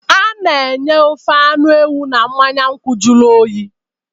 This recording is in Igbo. A na-enye ofe anụ ewu na mmanya nkwụ jụrụ oyi